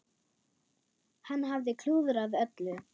Hann hafði klúðrað öllu.